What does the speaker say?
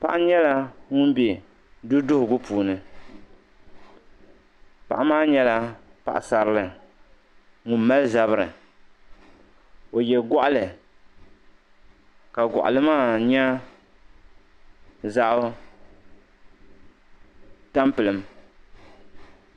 Paɣa nyala ŋun be duduhugu puuni. paɣa maa nyala paɣasarili. ka ɔ mali zabiri ɔye gɔɣli, ka goɣili maa nyɛ zaɣi tan pilim.